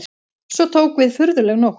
Svo tók við furðuleg nótt.